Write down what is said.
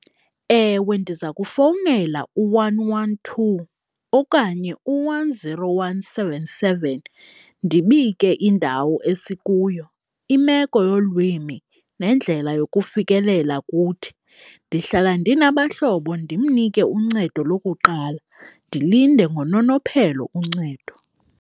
Ewe, ndiza kufowunela u-one one two okanye u-one zero one seven seven ndibike indawo esikuyo. Imeko yolwimi nendlela yokufikelela kuthi, ndihlala ndinabahlobo ndimnike uncedo lokuqala ndilinde ngononophelo uncedo.